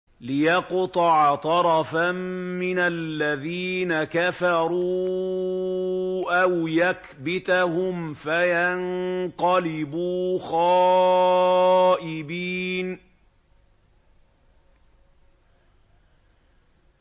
لِيَقْطَعَ طَرَفًا مِّنَ الَّذِينَ كَفَرُوا أَوْ يَكْبِتَهُمْ فَيَنقَلِبُوا خَائِبِينَ